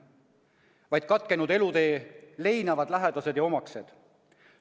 Inimeste elutee on katkenud, neid leinavad nende lähedased ja omaksed.